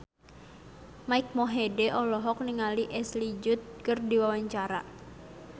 Mike Mohede olohok ningali Ashley Judd keur diwawancara